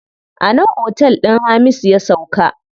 A nan otel din Hamisu ya sauka.